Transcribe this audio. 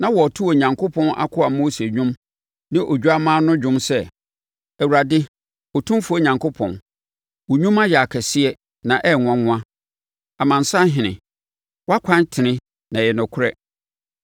Na wɔreto Onyankopɔn akoa Mose dwom ne Odwammaa no dwom sɛ, “Awurade, Otumfoɔ Onyankopɔn, wo nnwuma yɛ akɛseɛ na ɛyɛ nwanwa Amansanhene Wʼakwan tene na ɛyɛ nokorɛ.